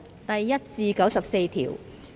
第1至94條。